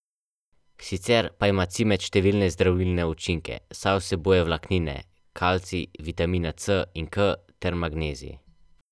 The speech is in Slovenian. Sicer pa ima cimet številne zdravilne učinke, saj vsebuje vlaknine, kalcij, vitamina C in K ter magnezij.